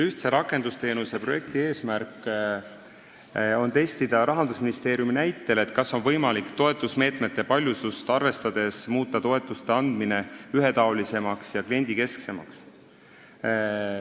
Ühtse rakendusteenuse eesmärk on testida Rahandusministeeriumi näitel, kas toetusmeetmete paljusust arvestades on võimalik muuta toetuste andmine ühetaolisemaks ja kliendikesksemaks.